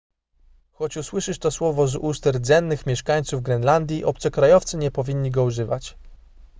choć usłyszysz to słowo z ust rdzennych mieszkańców grenlandii obcokrajowcy nie powinni go używać